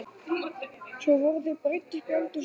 Svo voru þau breidd upp í eldhús og þurrkuð.